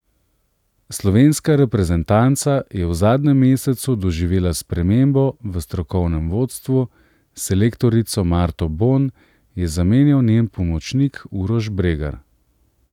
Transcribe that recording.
Slovenska reprezentanca je v zadnjem mesecu doživela spremembo v strokovnem vodstvu, selektorico Marto Bon je zamenjal njen pomočnik Uroš Bregar.